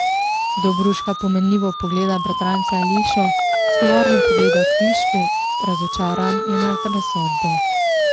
Dobruška pomenljivo pogleda bratranca Elišo, zgovorno pogleda kvišku, razočaran je nad razsodbo.